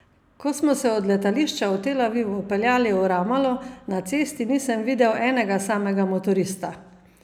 Ko smo se od letališča v Tel Avivu peljali v Ramalo, na cesti nisem videl enega samega motorista!